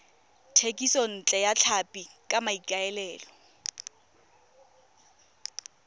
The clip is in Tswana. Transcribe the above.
thekisontle ya tlhapi ka maikaelelo